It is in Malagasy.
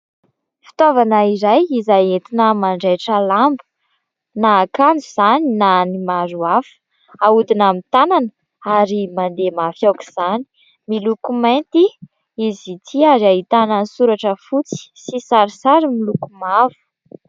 Fitaovana iray izay entina manjaitra lamba, na akanjo izany na ny maro hafa. Ahodina amin'ny tanana ary mandeha mafy aok'izany. Miloko mainty izy itỳ ary ahitana soratra fotsy sy sarisary miloko mavo.